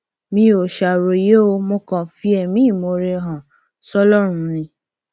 mi ò ṣàròyé o mo kàn ń fi ẹmí ìmoore hàn sọlọrun ni